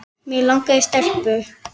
Mig langaði í stelpu.